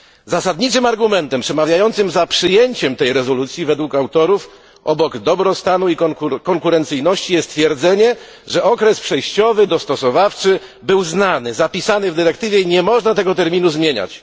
Zasadniczym argumentem przemawiającym za przyjęciem tej rezolucji według autorów, obok dobrostanu i konkurencyjności, jest twierdzenie, że dostosowawczy okres przejściowy był znany, zapisany w dyrektywie i nie można tego terminu zmieniać.